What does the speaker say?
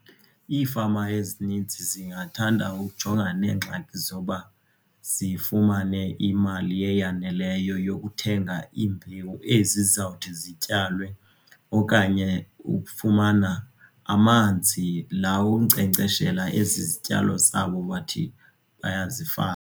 Iifama ezininzi zingathanda ukujongana neengxaki zoba zifumane imali eyaneleyo yokuthenga imbewu ezi zizawuthi zityalwe okanye ukufumana amanzi la onkcenkceshela ezi zityalo zabo bathi bayazifama.